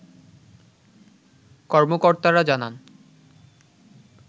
কর্মকর্তারা জানান